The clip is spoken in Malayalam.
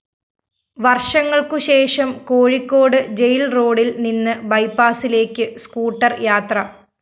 വര്‍ഷങ്ങള്‍ക്കുശേഷം കോഴിക്കോട് ജയില്‍ റോഡില്‍ നിന്ന് ബൈപാസിലേക്ക് സ്കൂട്ടർ യാത്ര